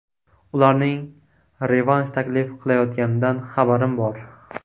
Ularning revansh taklif qilayotganidan xabarim bor.